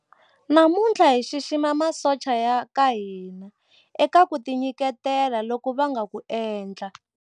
Namuntlha hi xixima masocha ya ka hina eka ku tinyiketela loku va nga ku endla.